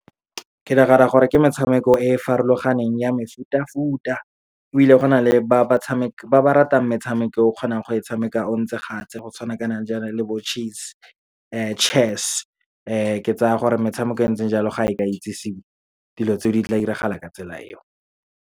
Ke nagana gore ke metshameko e e farologaneng ya mefutafuta, ebile go na le ba ba ratang metshameko eo kgonang go e tshameka o ntse go tshwana kana jana le bo chess. Ke tsaya gore metshameko e ntseng jalo, ga e ka itsisiwe dilo tse di tla diragala ka tsela eo.